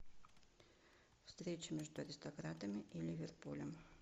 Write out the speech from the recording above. встреча между аристократами и ливерпулем